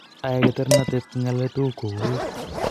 Ae Keternatet kengalale tuguk kouit